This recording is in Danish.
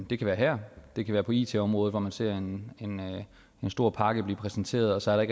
det kan være her det kan være på it området hvor man ser en stor pakke blive præsenteret og så er der